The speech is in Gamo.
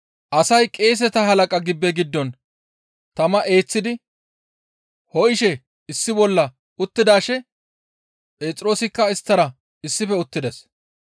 Asay qeeseta halaqa gibbe giddon tama eeththidi ho7ishe issi bolla uttidaashe Phexroosikka isttara issife uttides.